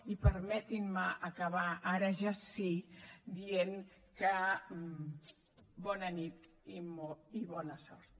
i permetin me acabar ara ja sí dient que bona nit i bona sort